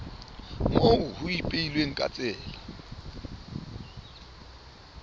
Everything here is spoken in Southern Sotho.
moo ho ipehilweng ka tsela